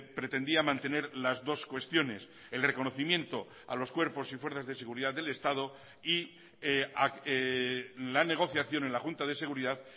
pretendía mantener las dos cuestiones el reconocimiento a los cuerpos y fuerzas de seguridad del estado y la negociación en la junta de seguridad